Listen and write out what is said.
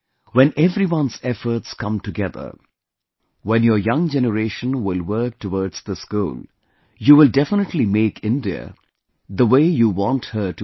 When everyone's efforts come together, when your young generation will work towards this goal, you will definitely make India the way you want her to be